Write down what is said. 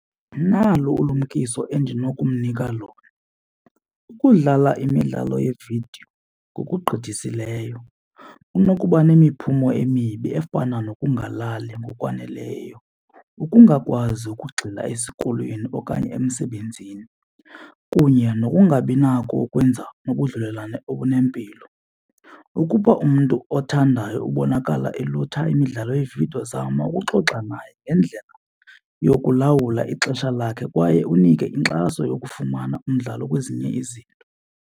Ndinalo ulumkiso endinokumnika lona, ukudlala imidlalo yeevidiyo ngokugqithisileyo kunokuba nemiphumo emibi efana nokungalali ngokwaneleyo ukungakwazi ukugxila esikolweni okanye emsebenzini kunye nokungabinako ukwenza ubudlelwane obunempilo. Ukuba umntu othandayo ubonakala elutha imidlalo yeevidiyo zama ukuxoxa naye ngendlela yokulawula ixesha lakhe kwaye unike inkxaso yokufumana umdlalo kwezinye izinto.